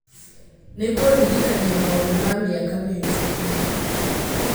nĩ kũndirikania maũndũ ma mĩaka mĩhĩtũku